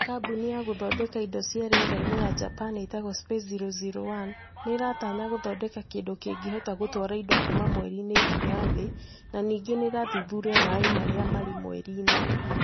Kambuni ya gũthondeka indo cia rĩera-inĩ ya Japan ĩtagwo Space001, nĩ ĩratanya gũthondeka kĩndũ kĩngĩhota gũtwara indo kuuma mweri-inĩ nginya Thĩ, na ningĩ gũthuthuria maĩ marĩa marĩ mweri-inĩ